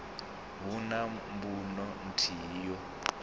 hu na mbuno nthihi yo